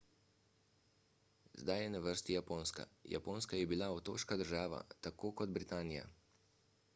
zdaj je na vrsti japonska japonska je bila otoška država tako kot britanija